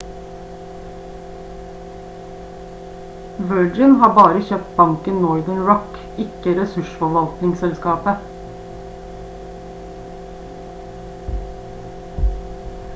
virgin har bare kjøpt banken northern rock ikke ressursforvaltningsselskapet